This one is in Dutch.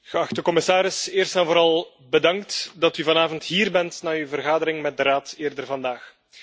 Geachte commissaris, eerst en vooral bedankt dat u vanavond hier bent na uw vergadering met de Raad eerder vandaag.